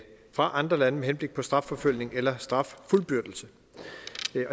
fra andre lande med henblik på strafforfølgning eller straffuldbyrdelse